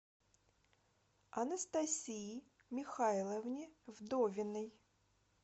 анастасии михайловне вдовиной